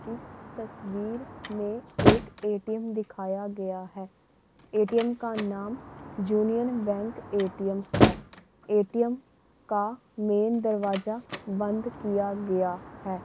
यह तस्वीर में हमें एक एटीम दिखाया गया है एटीम का नाम यूनियन बैंक एटीम है एटीम का मेन दरवाजा बंद किया गया है।